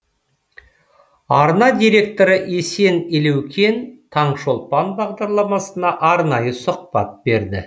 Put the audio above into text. арна директоры есен елеукен таңшолпан бағдарламасына арнайы сұхбат берді